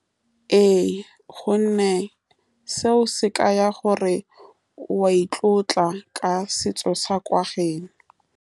Ee, ka gonne seo se ka ya gore o a itlotla ka setso sa kwa geno.